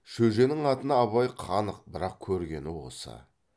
шөженің атына абай қанық бірақ көргені осы